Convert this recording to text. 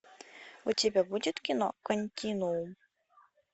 у тебя будет кино континуум